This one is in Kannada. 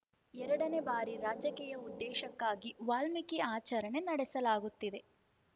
ಎರಡನೇ ಬಾರಿ ರಾಜಕೀಯ ಉದ್ದೇಶಕ್ಕಾಗಿ ವಾಲ್ಮೀಕಿ ಆಚರಣೆ ನಡೆಸಲಾಗುತ್ತಿದೆ